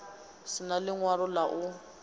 si na ḽiṅwalo ḽa u